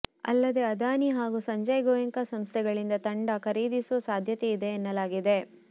ಅಲ್ಲದೇ ಅದಾನಿ ಹಾಗೂ ಸಂಜಯ್ ಗೋಯೆಂಕಾ ಸಂಸ್ಥೆಗಳಿಂದ ತಂಡ ಖರೀದಿಸುವ ಸಾಧ್ಯತೆಯಿದೆ ಎನ್ನಲಾಗಿದೆ